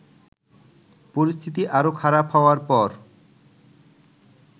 পরিস্থিতি আরও খারাপ হওয়ার পর